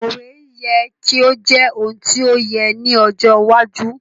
Òwe yẹ ki o jẹ oun ti o yẹ ni ojo iwájú